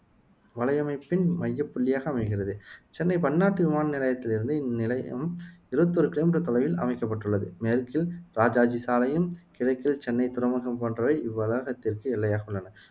வலையமைப்பின் மையப் புள்ளியாக அமைகிறது சென்னை பன்னாட்டு விமான நிலையத்திலிருந்து இந்நிலையம் இருபத்தி ஓரு கிலோமீட்டர் தொலைவில் அமைக்கப்பட்டுள்ளது மேற்கில் இராஜாஜி சாலையும், கிழக்கில் சென்னை துறைமுகம் போன்றவை இவ்வளாகத்திற்கு எல்லையாக உள்ளன